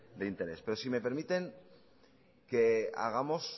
de interés pero si me permiten hagamos